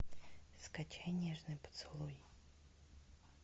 скачай нежный поцелуй